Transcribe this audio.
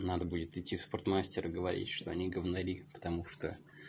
надо будет идти в спортмастер и говорить что они говнори потому что